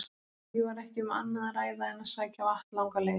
Því var ekki um annað að ræða en að sækja vatn langar leiðir.